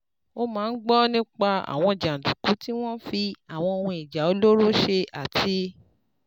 Ó máa ń gbọ́ nípa àwọn jàǹdùkú tí wọ́n fi àwọn ohun ìjà olóró ṣe àti